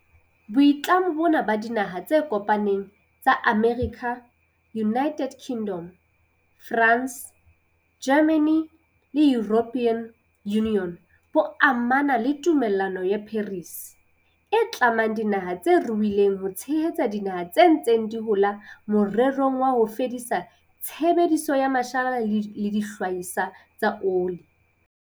Boitlamo bona ba Dinaha tse Kopaneng tsa Amerika, United Kingdom, France, Germany le European Union bo amana le Tumellano ya Paris, e tlamang dinaha tse ruileng ho tshehetsa dinaha tse ntseng di hola morerong wa ho fedisa tshebediso ya mashala le dihlahiswa tsa oli.